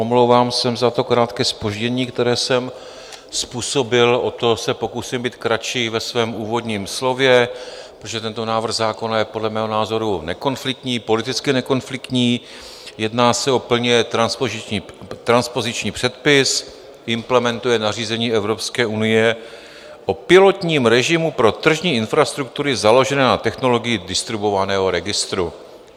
Omlouvám se za to krátké zpoždění, které jsem způsobil, o to se pokusím být kratší ve svém úvodním slově, protože tento návrh zákona je podle mého názoru nekonfliktní, politicky nekonfliktní, jedná se o plně transpoziční předpis, implementuje nařízení Evropské unie o pilotním režimu pro tržní infrastruktury založené na technologii distribuovaného registru.